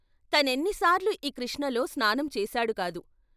తనెన్నిసార్లు ' ఈ కృష్ణలో స్నానం చేశాడుకాదు.